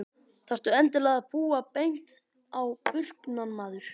Þarftu endilega að púa beint á burknann maður?